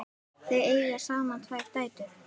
Þau eiga saman tvær dætur.